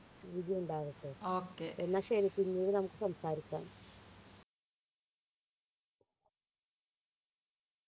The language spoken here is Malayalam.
okay എന്നാ ശരി പിന്നീട് നമുക്ക് സംസാരിക്കാം